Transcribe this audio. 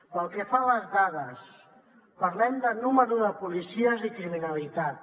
pel que fa a les dades parlem de nombre de policies i criminalitat